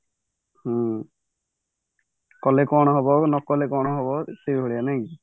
ହୁଁ କଲେ କଣ ହବ ନକଲେ କଣ ହବ ସେଇଭଳିଆ ନାଇକି